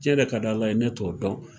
Cɛn de ka di Ala ye ne t'o dɔn.